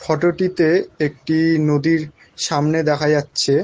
photo -টিতে একটি নদীর সামনে দেখা যাচ্ছে--